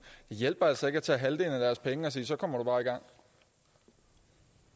hjælper altså ikke at tage halvdelen af deres penge og sige så kommer